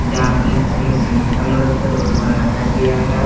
यहां पर नीचे में सीमेंट का मदद से रोड बनाया गया है।